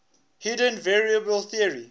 hidden variable theory